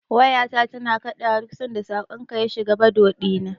Wayata tana kaɗawa duk sanda saƙonka ya shiga Bado ɗina.